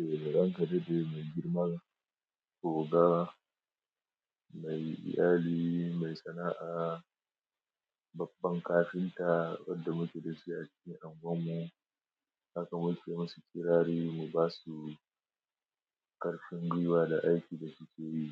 Eh, ranka yaɗade mai girma, oga, mai iyali, mai sana'a, babban kafinta wanda muke da shi a cikin unguwar mu. Haka muke yi masu kirari mu basu karfin gwiwa da aikin da suke yi